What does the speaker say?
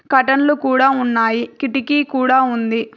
కర్టన్లు కూడా ఉన్నాయి కిటికీ కూడా ఉంది.